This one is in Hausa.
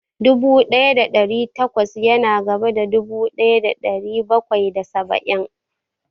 Dubu ɗaya da ɗari takwas ya na gaba da dubu ɗaya da ɗari bakwai da saba'in